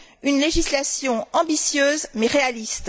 une législation ambitieuse, mais réaliste.